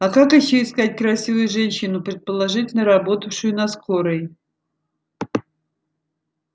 а как ещё искать красивую женщину предположительно работавшую на скорой